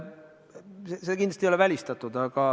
See kindlasti ei ole välistatud.